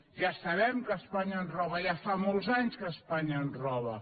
ja sabem que espanya ens roba ja fa molts anys que espanya ens roba